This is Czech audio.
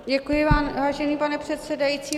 Děkuji vám, vážený pane předsedající.